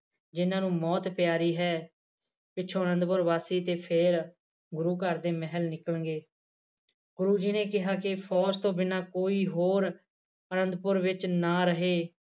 ਜਿਨ੍ਹਾਂ ਨੂੰ ਮੌਤ ਪਿਆਰੀ ਹੈ ਪਿੱਛੋਂ ਅਨੰਦਪੁਰ ਵਾਸੀ ਤੇ ਫੇਰ ਗੁਰੂ ਘਰ ਦੇ ਮਹਿਲ ਨਿਕਲਣਗੇ ਗੁਰੂ ਜੀ ਨੇ ਕਿਹਾ ਫੌਜ ਤੋਂ ਬਿਨਾਂ ਕੋਈ ਹੋਰ ਅਨੰਦਪੁਰ ਵਿੱਚ ਨਾ ਰਹੇ